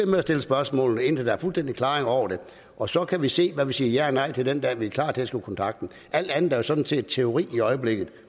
med at stille spørgsmål indtil der er fuldstændig klarhed over det og så kan vi se hvad vi siger ja og nej til det den dag vi er klar til at skrive kontrakt alt andet er jo sådan set teori i øjeblikket